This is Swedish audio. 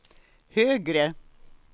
högre